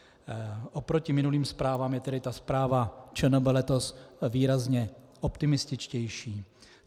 Oproti minulým zprávám je tedy ta zpráva ČNB letos výrazně optimističtější.